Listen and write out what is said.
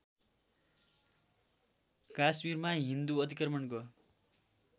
कास्मिरमा हिन्दू अतिक्रमणको